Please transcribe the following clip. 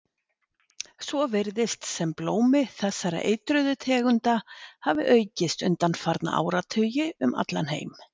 Svo virðist sem blómi þessara eitruðu tegunda hafi aukist undanfarna áratugi um allan heim.